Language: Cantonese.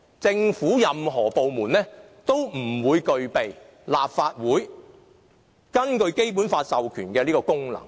政府任何一個部門，也不會具備立法會根據《基本法》授權的這個功能。